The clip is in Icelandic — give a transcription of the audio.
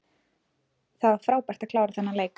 Það var frábært að klára þennan leik.